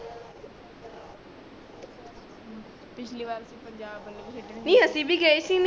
ਪਿੱਛਲੀ ਬਾਰ ਅਸੀ ਪੰਜਾਬ ਖੇਡਣੇ ਗਏ ਸੀ ਨੀ ਅਸੀ ਗਯੇ ਸੀ ਨੀ